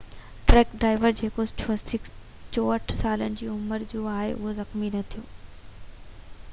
truck driver جيڪو 64 سالن جي عمر جو آهي اهو زخمي نہ ٿيو